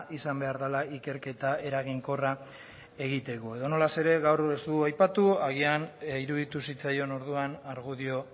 izan behar dela ikerketa eraginkorra egiteko edonola ere gaur ez du aipatu agian iruditu zitzaion orduan argudio